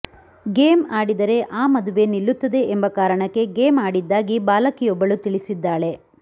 game ಆಡಿದರೆ ಆ ಮದುವೆ ನಿಲ್ಲುತ್ತದೆ ಎಂಬ ಕಾರಣಕ್ಕೆ ಗೇಮ್ ಆಡಿದ್ದಾಗಿ ಬಾಲಕಿಯೊಬ್ಬಳು ತಿಳಿಸಿದ್ದಾಳೆ